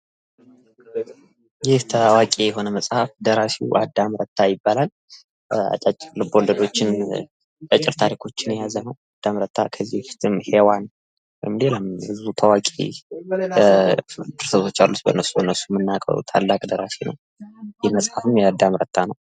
ይህ ታዋቂ የሆነ መፅሀፍ ደራሲዉ አዳም ረታ ይባላል። አጫጭር ልብ ወለዶችን እና አጫጭር ታሪኮችን የያዘ ነዉ። አዳም ረታ ከዚህ በፊትም ሔዋን ሌላም ድርሰቶች አሉት። ታዋቂ ደራሲ ነዉ። ይህ መፅሀፍም የአዳም ረታ ነዉ።